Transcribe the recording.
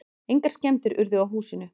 Engar skemmdir urðu á húsinu.